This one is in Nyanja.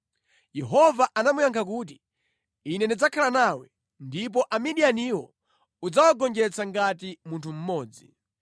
Yehova anamuyankha kuti, “Ine ndidzakhala nawe, ndipo Amidiyaniwo udzawagonjetsa ngati munthu mmodzi.”